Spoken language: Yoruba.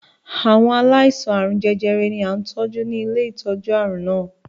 Àwọn aláìsàn àarun jẹjẹrẹ ni à ń tọ́jú ni ilé ìtọ́jú àrùn náà.